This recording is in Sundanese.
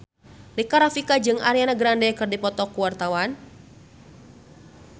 Rika Rafika jeung Ariana Grande keur dipoto ku wartawan